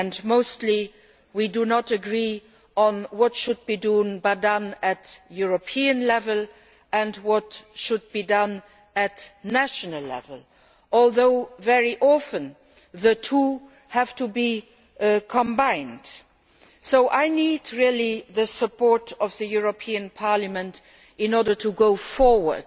Mostly we do not agree on what should be done at European level and what should be done at national level, although very often the two have to be combined. So I really need the support of Parliament in order to go forward